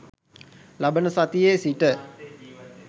ලබන සතියේ සිට